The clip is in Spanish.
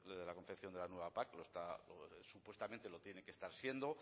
de la confección de la nueva pac supuestamente lo tiene que estar siendo